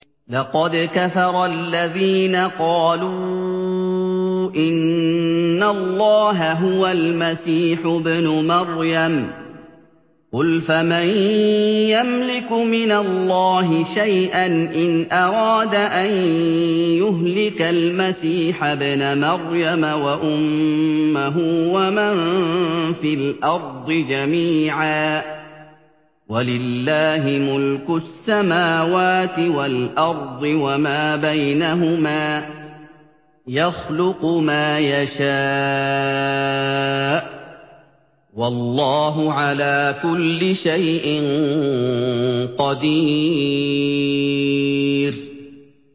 لَّقَدْ كَفَرَ الَّذِينَ قَالُوا إِنَّ اللَّهَ هُوَ الْمَسِيحُ ابْنُ مَرْيَمَ ۚ قُلْ فَمَن يَمْلِكُ مِنَ اللَّهِ شَيْئًا إِنْ أَرَادَ أَن يُهْلِكَ الْمَسِيحَ ابْنَ مَرْيَمَ وَأُمَّهُ وَمَن فِي الْأَرْضِ جَمِيعًا ۗ وَلِلَّهِ مُلْكُ السَّمَاوَاتِ وَالْأَرْضِ وَمَا بَيْنَهُمَا ۚ يَخْلُقُ مَا يَشَاءُ ۚ وَاللَّهُ عَلَىٰ كُلِّ شَيْءٍ قَدِيرٌ